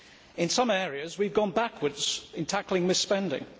In some areas we have gone backwards in tackling mis spending.